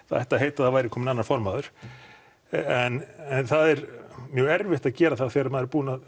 það ætti að heita að það væri kominn annar formaður en það er mjög erfitt að gera það þegar maður er búinn að